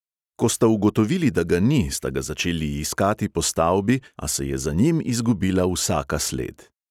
Ko sta ugotovili, da ga ni, sta ga začeli iskati po stavbi, a se je za njim izgubila vsaka sled.